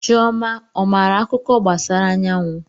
Chioma ọ maara akuko gbasara anyawu?